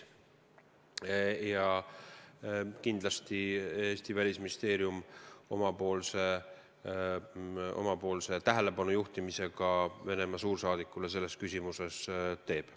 Ja kindlasti Eesti Välisministeerium omapoolse tähelepanu juhtimise Venemaa suursaadikule selles küsimuses ka teeb.